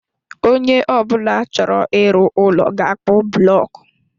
Onye ọ bụla chọrọ ịrụ ụlọ ga akpu bụlọku